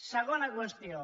segona qüestió